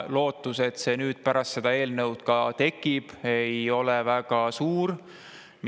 Lootus, et need nüüd pärast selle seaduse tekivad, ei ole väga suur.